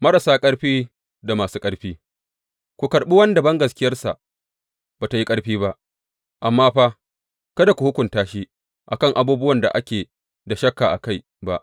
Marasa ƙarfi da masu ƙarfi Ku karɓi wanda bangaskiyarsa ba tă yi ƙarfi ba, amma fa kada ku hukunta shi a kan abubuwan da ake da shakka a kai ba.